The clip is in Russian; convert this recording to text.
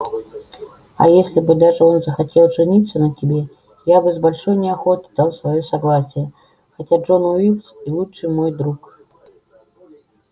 а если бы даже он захотел жениться на тебе я бы с большой неохотой дал своё согласие хотя джон уилкс и лучший мой друг